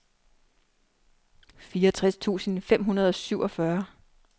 fireogtres tusind fem hundrede og syvogfyrre